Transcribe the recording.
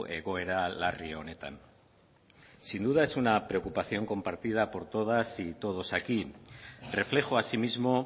egoera larri honetan sin duda es una preocupación compartida por todas y todos aquí reflejo asimismo